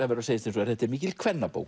verður að segjast eins og er þetta er mikil